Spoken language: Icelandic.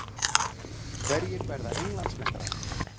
Hverjir verða Englandsmeistarar?